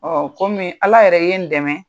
kɔmi Ala yɛrɛ ye n dɛmɛ.